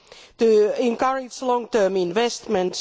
to encourage long term investments